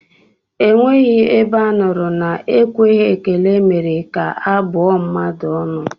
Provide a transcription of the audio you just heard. Enweghị ebe a nụrụ na ekweghị ekele mere ka a bụọ mmadụ ọnụ